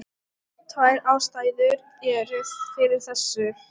Tvær ástæður eru fyrir þessu.